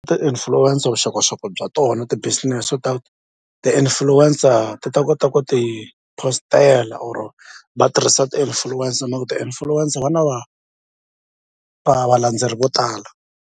Ti-influencer vuxokoxoko bya tona ti-busines ta ti-influencer ti ta kota ku ti post-ela or va tirhisa ti-influencer ti influencer va na va va valandzeri vo tala.